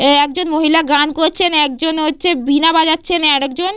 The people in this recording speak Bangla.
এ একজন মহিলা গান করছেন একজন হচ্ছে বীণা বাজাচ্ছেন আর একজন--